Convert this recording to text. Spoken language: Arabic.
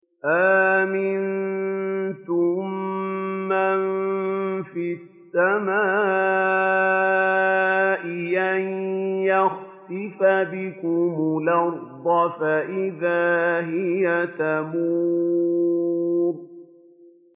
أَأَمِنتُم مَّن فِي السَّمَاءِ أَن يَخْسِفَ بِكُمُ الْأَرْضَ فَإِذَا هِيَ تَمُورُ